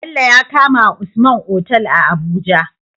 Bello ya kamawa usman Otal a abuja